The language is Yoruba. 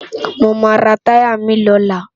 Mó má tàyá mi lólá